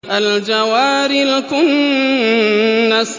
الْجَوَارِ الْكُنَّسِ